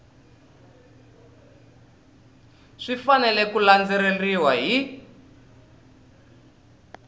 swi fanele ku landzeleriwa hi